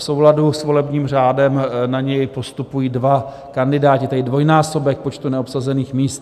V souladu s volebním řádem na něj postupují dva kandidáti, tedy dvojnásobek počtu neobsazených míst.